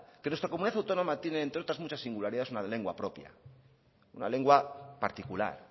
que nuestra comunidad autónoma tiene entre otras muchas singularidades una lengua propia una lengua particular